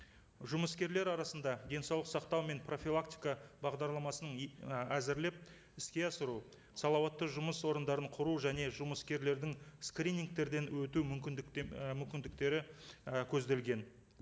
жұмыскерлер арасында денсаулық сақтау мен профилактика бағдарламасын і әзірлеп іске асыру салауатты жұмыс орындарын құру және жұмыскерлердің скринингтерден өту мүмкіндіктен і мүмкіндіктері і көзделген